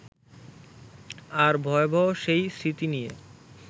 আর ভয়াবহ সেই স্মৃতি নিয়ে